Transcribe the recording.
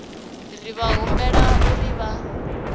ri vha humbela uri vha